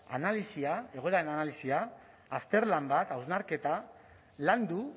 analisia egoeraren analisia azterlan bat hausnarketa landu